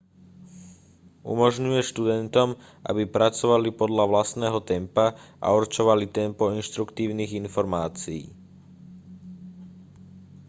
umožňuje študentom aby pracovali podľa vlastného tempa a určovali tempo inštruktívnych informácií